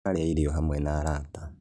Tũrarĩa irio hamwe na arata